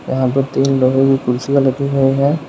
यहां पर तीन लोगों की कुर्सियां रखी गई है।